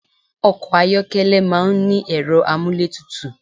Ọkọ̀ ayọ́kẹ́lẹ̀ máà ń ní ẹ̀rọ amúlétutù